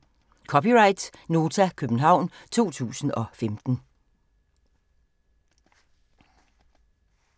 (c) Nota, København 2015